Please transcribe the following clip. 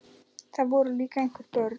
Það voru líka einhver börn.